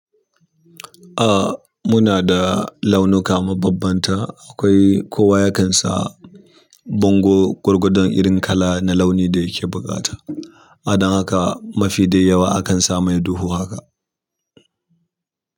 Ah muna da launuka mabambanta. Akwai kowa ya kan sa bango gwargwadon irin kala na launi da yake buƙata. A dan haka mafi dai yawa akan sa mai duhu haka.